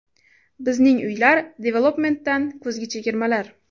Bizning Uylar Development’dan kuzgi chegirmalar!.